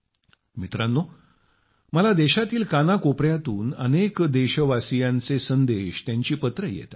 मित्रांनो मला देशातील कानाकोपऱ्यातून अनेक देशवासींचे संदेश त्यांची पत्रे येतात